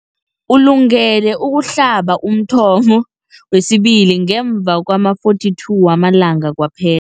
Ulungele ukuhlaba umthamo wesibili ngemva kwama-42 wama langa kwaphe